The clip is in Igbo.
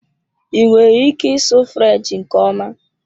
I nwere ike ịsụ French nke ọma?